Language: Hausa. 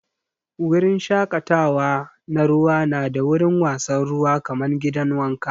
Wurin shakatawa na ruwa na da wurin wasan ruwa kaman gidan wanka.